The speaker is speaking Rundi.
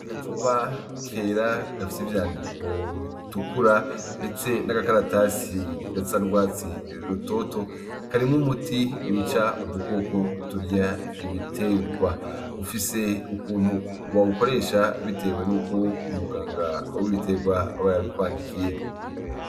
Agacupa kera gafise ivyandiko bitukura ndetse n'agakaratasi gasa n'urwatsi rutoto karimwo umuti wica udukoko turya ibiterwa bafise, ufise ukuntu bawukoresha bitewe n'ukuntu muganga w'ibiterwa aba yabi kwandikiye.